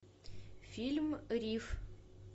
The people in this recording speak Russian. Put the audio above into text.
фильм риф